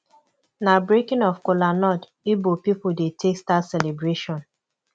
na breaking of cola nut ibo pipu dey take start celebration